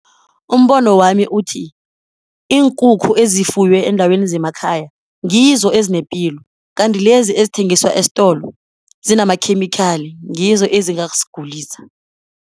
Umbono wami uthi, iinkukhu ezifuywe eendaweni zemakhaya ngizo ezinepilo kanti lezi ezithengiswa esitolo zinamakhemikhali, ngizo ezingazisigulisa.